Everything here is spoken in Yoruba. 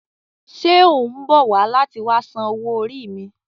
Ṣe o mbọ wa lati wa san owó orí mi?